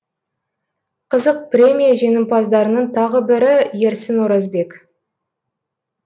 қызық премия жеңімпаздарының тағы бірі ерсін оразбек